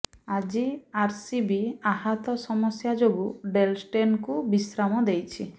ଆଜି ଆରସିବି ଆହତ ସମସ୍ୟା ଯୋଗୁ ଡେଲ୍ ଷ୍ଟେନ୍ଙ୍କୁ ବିଶ୍ରାମ ଦେଇଛି